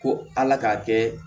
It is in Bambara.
Ko ala k'a kɛ